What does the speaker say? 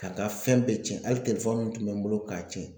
Ka n ka fɛn bɛɛ tiɲɛ hali tun bɛ n bolo k'a tiɲɛ